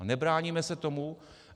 A nebráníme se tomu.